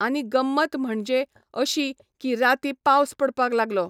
आनी गंमत म्हणजे अशी की राती पावस पडपा लागलो.